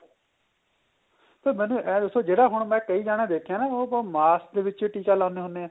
sir ਮੈਨੂੰ ਇਹ ਦੱਸੋ ਜਿਹੜਾ ਹੁਣ ਮੈਂ ਕਈ ਜਾਣੇ ਦੇਖੇ ਏ ਉਹ ਮਾਸ ਦੇ ਵਿੱਚ ਟਿਕਾ ਲਗਾਂਦੇ ਹੁੰਦੇ ਏ